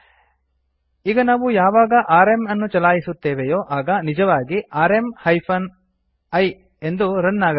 ಈಗ ನಾವು ಯಾವಾಗ ಆರ್ಎಂ ಅನ್ನು ಚಲಾಯಿಸುತ್ತೇವೆಯೋ ಆಗ ನಿಜವಾಗಿ ಆರ್ಎಂ ಹೈಫೆನ್ I ಎಂಬುದು ರನ್ ಆಗಬೇಕು